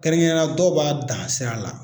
Kɛrɛnkɛrɛnya la dɔw b'a dan sira la.